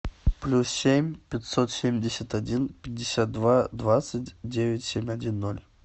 плюс семь пятьсот семьдесят один пятьдесят два двадцать девять семь один ноль